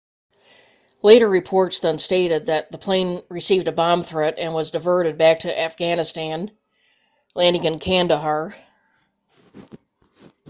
later reports then stated the plane received a bomb threat and was diverted back to afghanistan landing in kandahar